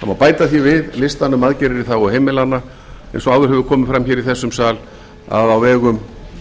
það má bæta því við listann um aðgerðir í þágu heimilanna eins og fram hefur komið áður í þessum sal að á vegum